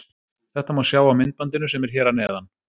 Þetta má sjá á myndbandinu sem er hér að neðan.